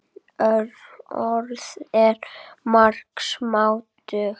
Orð eru margs máttug.